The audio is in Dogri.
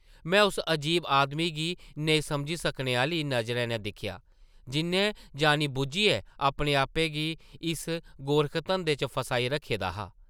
मैं उस अजीब आदमी गी नेईं समझी सकने आह्ली नज़रें नै दिक्खेआ, जिʼन्नै जानी-बुज्झियै अपने-आपै गी इस गोरखधंधे च फसाई रक्खे दा हा ।